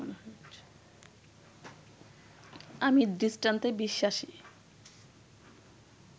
আমি দৃষ্টান্তে বিশ্বাসী